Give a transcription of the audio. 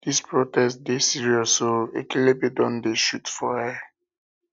dis protest dey serious protest dey serious o ekelebe don dey shoot for air